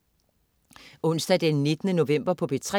Onsdag den 19. november - P3: